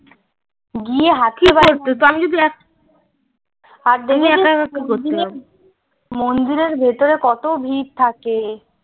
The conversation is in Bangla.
গিয়ে মন্দিরের ভেতরে কত ভিড় থাকে